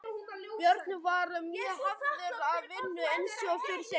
Björn var mjög hafður að vinnu eins og fyrr segir.